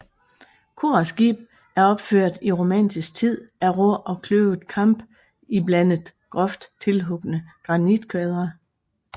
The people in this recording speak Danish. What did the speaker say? Kor og skib er opført i romansk tid af rå og kløvet kamp iblandet groft tilhugne granitkvadre